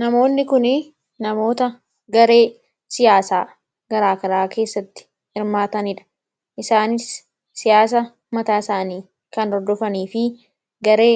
Namoonni kunii namoota garee siyaasaa gara garaa keessatti hirmaatanidha. Isaanis siyaasa mataa isaanii kan hordofanifi garee